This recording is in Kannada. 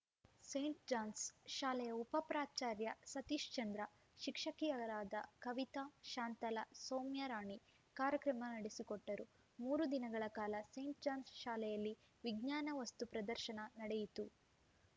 ಸೇಂಟ್‌ ಜಾನ್ಸ್‌ ಶಾಲೆಯ ಉಪ ಪ್ರಾಚಾರ್ಯ ಸತೀಶ್ಚಂದ್ರ ಶಿಕ್ಷಕಿಯರಾದ ಕವಿತಾ ಶಾಂತಲಾ ಸೌಮ್ಯರಾಣಿ ಕಾರ್ಯಕ್ರಮ ನಡೆಸಿಕೊಟ್ಟರು ಮೂರು ದಿನಗಳ ಕಾಲ ಸೇಂಟ್‌ ಜಾನ್ಸ್‌ ಶಾಲೆಯಲ್ಲಿ ವಿಜ್ಞಾನ ವಸ್ತು ಪ್ರದರ್ಶನ ನಡೆಯಿತು